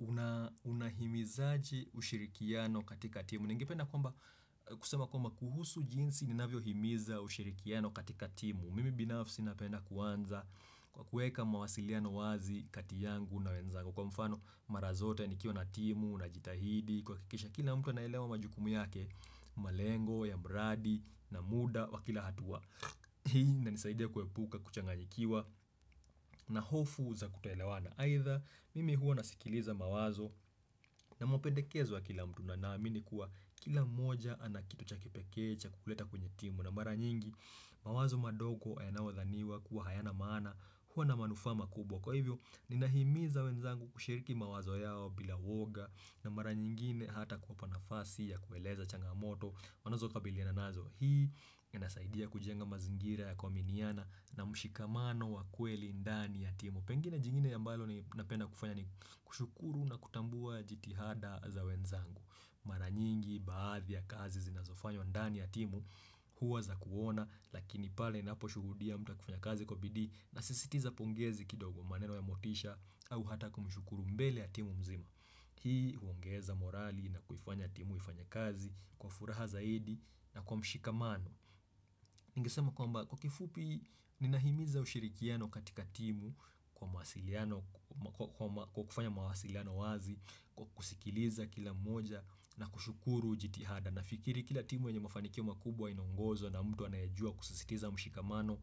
Una unahimizaji ushirikiano katika timu, ningependa kusema kwamba kuhusu jinsi ni navyo himiza ushirikiano katika timu Mimi binafsi napenda kuanza kwa kueka mawasiliano wazi kati yangu na wenzangu Kwa mfano mara zote nikiwa na timu, na jitahidi, kwa kikisha kila mtu na elewa majukumu yake malengo, ya mradi, na muda, wa kila hatua inanisaidia kuepuka, kuchangajikiwa, na hofu za kutaelewana aidha mimi huwa nasikiliza mawazo na mwapendekezo wa kila mtu na naamini kuwa kila moja anakitu cha kipekee cha kuleta kwenye timu na mara nyingi mawazo madogo yanao dhaniwa kuwa hayana maana huwa na manufaa kubwa kwa hivyo ni nahimiza wenzangu kushiriki mawazo yao bila uoga na mara nyingine hata kumpa nafasi ya kueleza changamoto wanazo kabiliana nazo hii inasaidia kujenga mazingira ya kuaminiana na mshikamano wa kweli ndani ya timu Pengine jingine ambalo napenda kufanya ni kushukuru na kutambua jitihada za wenzangu Mara nyingi baadhi ya kazi zinazofanywa ndani ya timu huwa za kuona Lakini pale inapo shuhudia mta kufanya kazi kwa bidii na sisitiza pongezi kidogo maneno ya motisha au hata kumushukuru mbele ya timu mzima Hii huongeza morali na kuifanya timu ifanye kazi kwa furaha zaidi na kwa mshikamano Ningesema kwamba kwa kifupi ninahimiza ushirikiano katika timu kwa mawasiliano kwa kufanya mawasiliano wazi kwa kusikiliza kila mmoja na kushukuru jitihada na fikiri kila timu yenye mafanikio makubwa inaongozo na mtu anayejua kusisitiza mshikamano,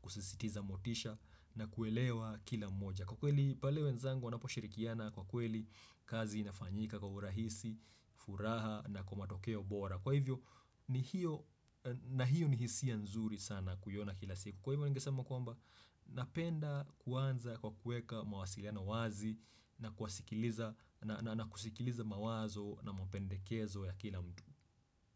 kusisitiza motisha na kuelewa kila moja Kwa kweli pale wenzangu wanapo shirikiana kwa kweli kazi inafanyika kwa urahisi, furaha na kwa matokeo bora Kwa hivyo ni hiyo na hiyo ni hisia nzuri sana kuyona kila siku Kwa hivyo ningesama kwamba napenda kuanza kwa kuweka mawasiliano wazi na kuwasikiliza na kusikiliza mawazo na mpendekezo ya kila mtu.